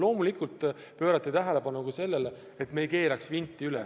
Loomulikult pöörati tähelepanu sellele, et me ei keeraks vinti üle.